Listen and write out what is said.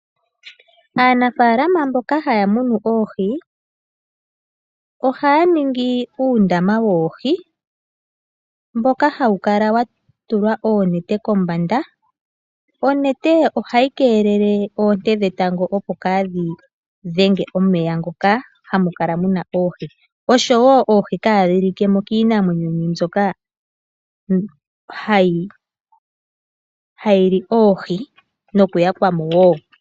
Aanafaalama mboka haya munu oohi ohaya ningi uundama woohi mboka hawu kala watulwa oonete kombanda. Onete ohayi keelele oonte dhetango opo kadhi dhenge omeya ngoka hamukala muna oohi oshowo oohi kadhi likemo kiinamwenyo mbyoka hayi li oohi nokuyakwamo wo.